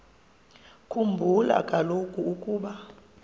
khumbula kaloku ukuba